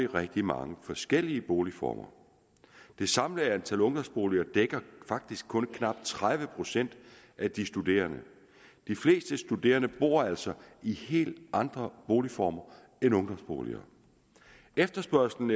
rigtig mange forskellige boligformer det samlede antal ungdomsboliger dækker faktisk kun knap tredive procent af de studerende de fleste studerende bor altså i helt andre boligformer end ungdomsboliger efterspørgslen